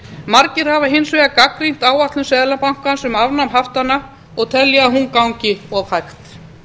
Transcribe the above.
margir hafa hins vegar gagnrýnt áætlun seðlabankans um afnám haftanna og telja að hún gangi of hægt